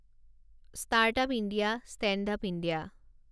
startup India, standup India